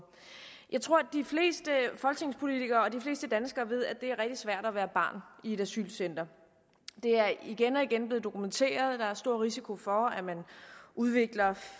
jeg tror at de fleste danskere ved at det er rigtig svært at være barn i et asylcenter det er igen og igen blevet dokumenteret at der er stor risiko for at man udvikler